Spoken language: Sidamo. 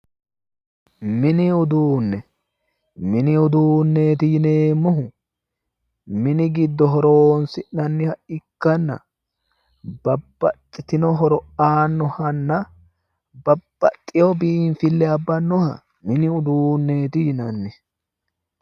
mini uduunne mini uduunneeti yineemmohu mini giddo horonsi'neemmoha ikkanna babbaxitino horo aannohanna babbaxino biinfille abbannoha mini uduunneeti yinanni.